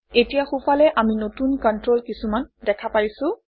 এতিয়া সোঁফালে আমি নতুন কণ্ট্ৰল কিছুমান দেখা পাইছোঁ